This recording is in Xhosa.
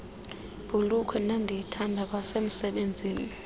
bhulukhwe ndandiyithanda kwasemsebenzini